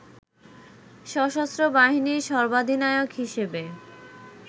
সশস্ত্র বাহিনীর সর্বাধিনায়ক হিসেবে